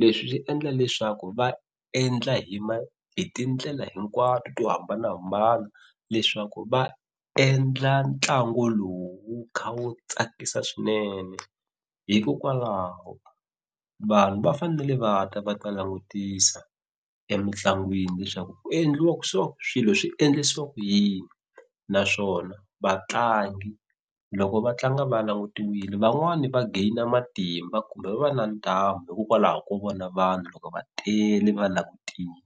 leswi swi endla leswaku va endla hi hi tindlela hinkwato to hambanahambana leswaku va endla ntlangu lowu wu kha wu tsakisa swinene hikokwalaho vanhu va fanele va ta va ta langutisa emitlangwini leswaku ku endliwa so swilo swi endlisiwa ku yini naswona vatlangi loko va tlanga va langutiwile van'wani va gain-a matimba kumbe va va na ntamu hikokwalaho ko vona vanhu loko va tele va langutile.